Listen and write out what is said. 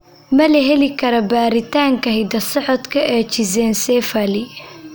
Ma la heli karaa baaritaanka hidda-socodka ee schizencephaly?